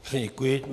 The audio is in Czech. Děkuji.